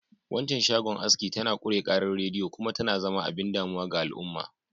Waccan shagon aski tana ƙure ƙarar rediyo kuma tana zama abin damuwa ga al'umma.